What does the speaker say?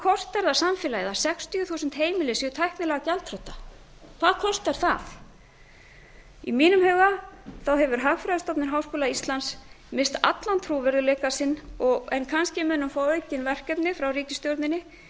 kostar það samfélagið að sextíu þúsund heimili séu tæknilega gjaldþrota hvað kostar það í mínum huga hefur hagfræðistofnun háskóla íslands misst allan trúverðugleika sinn kannski mun hún fá aukin verkefni frá ríkisstjórninni